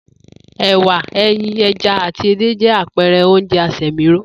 È̩wà, e̩yin, e̩ja àti edé jé̩ àpe̩re̩ oúnje̩ asè̩míró